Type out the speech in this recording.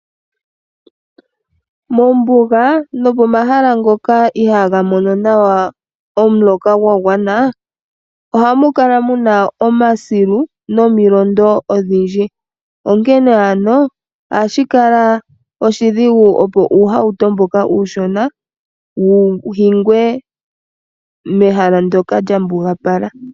Mombuga nopomahala ngoka iha ga mono nawa omuloka gwa gwana oha mu kala mu na omasilu nomilondo odhindji onkene ano ohashi kala oshidhigu opo uuhato mboka uushona wu hingwe mehala ndyoka lya mbugapala.